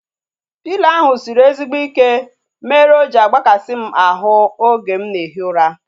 Pịlo ahu sịrị ezigbo ike mere o ji agbakasi m ahu oge m na ehi ụra